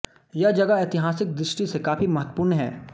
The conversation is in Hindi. यह जगह ऐतिहासिक दृष्टि से काफी महत्वपूर्ण है